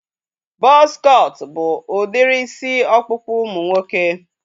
Buzz cut bụ udiri isi ọkpụkpụ ụmụ nwoke